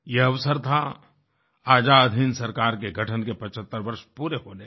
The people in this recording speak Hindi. यह अवसर था आजाद हिन्द सरकार के गठन के 75 वर्ष पूरे होने का